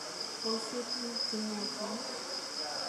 Esye tukuk che yaachen.